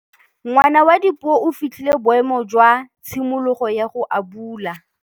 Ngwana wa Dipuo o fitlhile boêmô jwa tshimologô ya go abula.